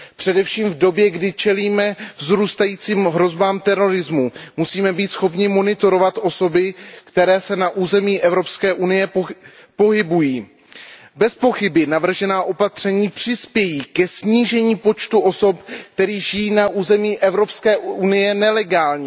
Především v době, kdy čelíme vzrůstajícím hrozbám terorismu, musíme být schopni monitorovat osoby, které se na území EU pohybují. Bezpochyby navržená opatření přispějí ke snížení počtu osob, které žijí na území EU nelegálně.